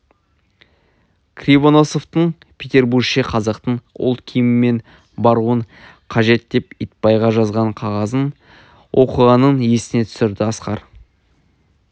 кривоносовтың петербурше қазақтың ұлт киімімен баруың қажет деп итбайға жазған қағазын оқығанын есіне түсірді асқар